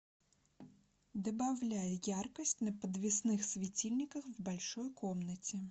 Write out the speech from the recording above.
добавляй яркость на подвесных светильниках в большой комнате